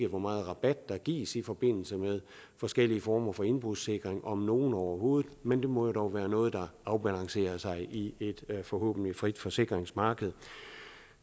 hvor meget rabat der gives i forbindelse med forskellige former for indbrudssikring om nogen overhovedet men det må jo dog være noget der afbalancerer sig selv i et forhåbentlig frit forsikringsmarked